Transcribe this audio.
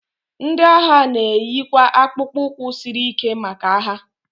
ndị agha na-eyikwa akpụkpọ ụkwụ siri ike maka agha